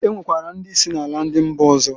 E nwekwara ndị si na ala ndi mba ọzọ.